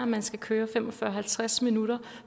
man skal køre i fem og fyrre til halvtreds minutter